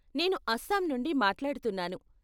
నేను అస్సాం నుండి మాట్లాడుతున్నాను.